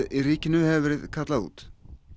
í ríkinu hefur verið kallað út